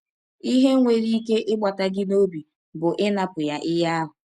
Ihe nwere ike ịgbata gị n’ọbi bụ ịnapụ ya ihe ahụ.